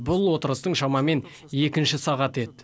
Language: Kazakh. бұл отырыстың шамамен екінші сағаты еді